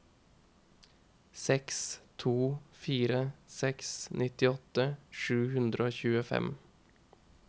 seks to fire seks nittiåtte sju hundre og tjuefem